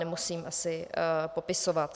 Nemusím asi popisovat.